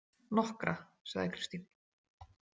Nokkra, sagði Kristín.